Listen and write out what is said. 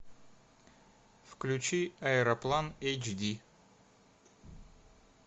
включи аэроплан эйч ди